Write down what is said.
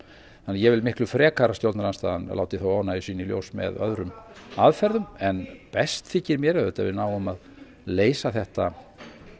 þannig að ég vil miklu frekar að stjórnarandstaðan láti þá óánægju sína í ljós með öðrum aðferðum en best þykir mér auðvitað að við náum að leysa þetta